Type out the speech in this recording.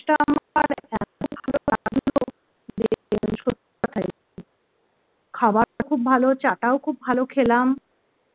খাবারটা খুব ভালো, চা টাও খুব ভালো খেলাম